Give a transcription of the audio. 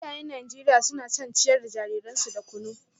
Iyayen Najeriya suna son ciyar da jariransu da kunu